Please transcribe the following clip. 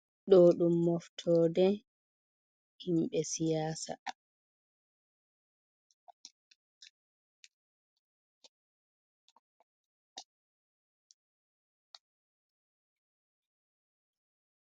Ɗo ɗum moftode, himɓe siyasa.